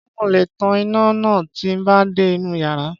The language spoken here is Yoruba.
Ṣé mo le tan iná náà tí n bá dé inú yàrá?